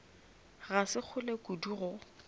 ga se kgole kudu go